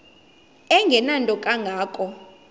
engenanto kanga ko